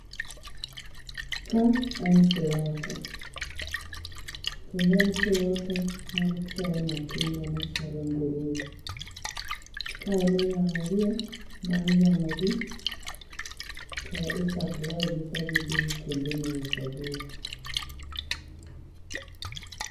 Ka en slota kendo en slota mar chiaye matindo . Kae emiyang'o gie bang' yang'o gi to i supply gi ka gidhi kuonde ma iuso gie